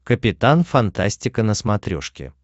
капитан фантастика на смотрешке